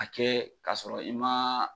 A kɛ k'a sɔrɔ i ma